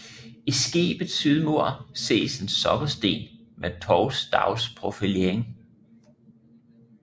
I skibets sydmur ses en sokkelsten med tovstavsprofilering